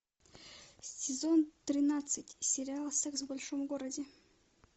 сезон тринадцать сериал секс в большом городе